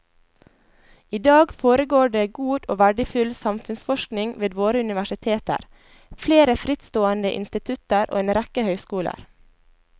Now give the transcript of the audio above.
I dag foregår det god og verdifull samfunnsforskning ved våre universiteter, flere frittstående institutter og en rekke høyskoler.